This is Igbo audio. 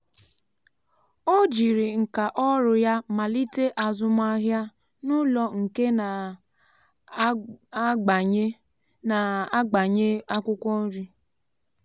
ọ jiri nka ọrụ ya malite azụmahịa n’ụlọ nke na-agbanye na-agbanye akwụkwọ nri.